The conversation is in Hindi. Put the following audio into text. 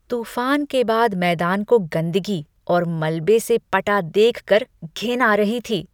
तूफान के बाद मैदान को गंदगी और मलबे से पटा देख कर घिन आ रही थी।